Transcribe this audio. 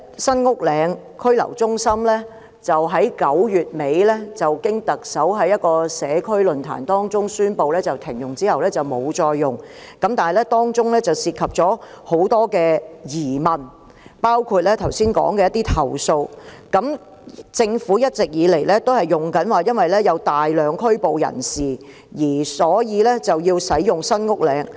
雖然在9月底舉行的社區論壇中，特首已宣布停用新屋嶺拘留中心，但當中仍存在許多疑問，包括剛才提到的投訴，而政府一直以來都是以有大量被拘捕人士作為使用該中心的理由。